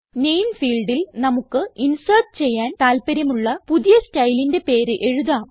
നാമെ ഫീൽഡിൽ നമുക്ക് ഇൻസേർട്ട് ചെയ്യാൻ താല്പര്യമുള്ള പുതിയ സ്റ്റൈലിന്റെ പേര് എഴുതാം